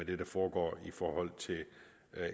det der foregår i forhold til